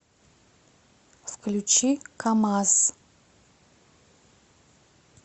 включи камаз